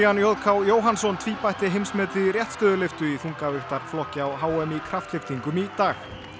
j k Jóhannsson tvíbætti heimsmetið í réttstöðulyftu í á h m í kraftlyftingum í dag